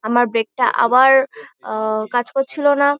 আমার ব্রেক -টা আবার আ কাজ করছিলো না।